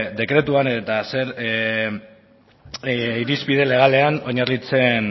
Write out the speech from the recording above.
dekretuan eta zer irizpide legalean oinarritzen